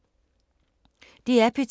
DR P2